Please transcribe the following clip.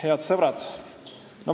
Head sõbrad!